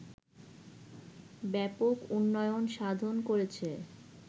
ব্যাপক উন্নয়ন সাধন করেছে